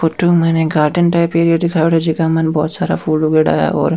photo में माइन एक गार्डन टाइप दिखाईडा है जीका मा बहोत सारा फूल उगेडा है और --